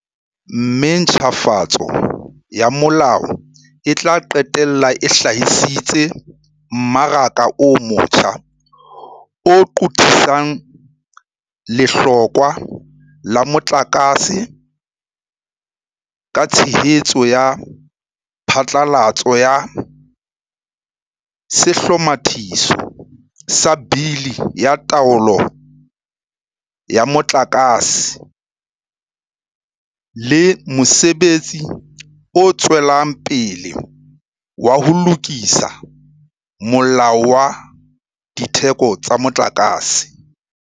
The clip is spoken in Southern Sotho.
Mme ntjhafatso ya molao e tla qetella e hlahisitse mmaraka o motjha o qothisang lehlokwa la motlakase, ka tshehetso ya phatlalatso ya Sehlomathiso sa Bili ya Taolo ya Motlaka se le mosebetsi o tswelang pele wa ho lokisa Molao wa Ditheko tsa Motlakase.